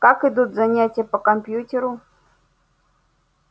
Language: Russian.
как идут занятия по компьютеру